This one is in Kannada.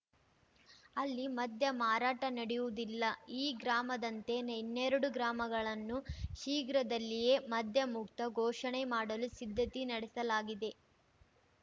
ಅಲ್ಲಿ ಮದ್ಯಮಾರಾಟ ನಡೆಯುವುದಿಲ್ಲ ಈ ಗ್ರಾಮದಂತೆ ಇನ್ನೆರಡು ಗ್ರಾಮಗಳನ್ನು ಶೀಘ್ರದಲ್ಲಿಯೇ ಮದ್ಯಮುಕ್ತ ಘೋಷಣೆ ಮಾಡಲು ಸಿದ್ಧತೆ ನಡೆಸಲಾಗಿದೆ